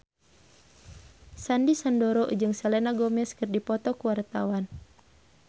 Sandy Sandoro jeung Selena Gomez keur dipoto ku wartawan